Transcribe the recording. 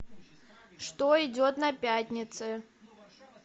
что идет на пятнице